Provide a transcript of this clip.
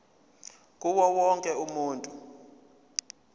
kuwo wonke umuntu